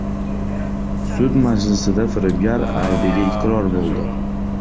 Sud majlisida firibgar aybiga iqror bo‘ldi.